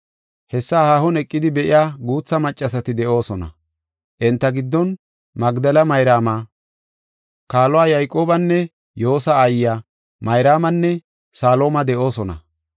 Hessa haahon eqidi be7iya guutha maccasati de7oosona. Enta giddon Magdela Mayraama, kaaluwa Yayqoobanne Yoosa aayiya Mayraamanne Salooma de7oosona.